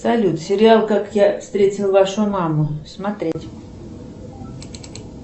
салют сериал как я встретил вашу маму смотреть